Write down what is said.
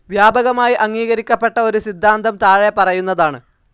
വ്യാപകമായി അംഗീകരിക്കപ്പെട്ട ഒരു സിദ്ധാന്തം താഴെ പറയുന്നതാണ്.